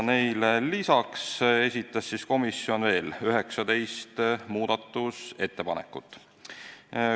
Lisaks esitas komisjon veel 19 muudatusettepanekut.